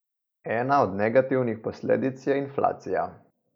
Ena od negativnih posledic je inflacija.